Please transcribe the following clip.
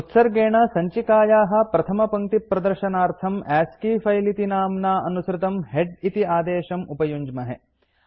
उत्सर्गेण सञ्चिकायाः प्रथमदशपङ्क्तिप्रदर्शनार्थं अस्की फिले इति नाम्ना अनुसृतम् हेड इति आदेशं उपयुञ्ज्महे